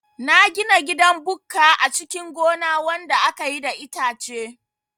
Na gina gidan bukka a cikin gona wanda akayi da itace